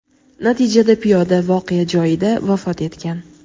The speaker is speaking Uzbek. Natijada piyoda voqea joyida vafot etgan.